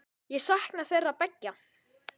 Ég sakna þeirra beggja.